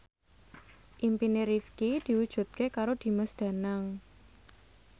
impine Rifqi diwujudke karo Dimas Danang